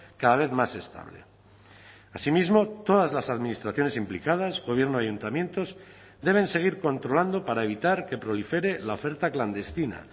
cada vez más estable asimismo todas las administraciones implicadas gobierno ayuntamientos deben seguir controlando para evitar que prolifere la oferta clandestina